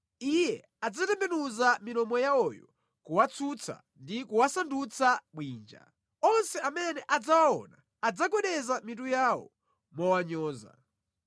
Iye adzatembenuza milomo yawoyo kuwatsutsa ndi kuwasandutsa bwinja; onse amene adzawaona adzagwedeza mitu yawo mowanyoza.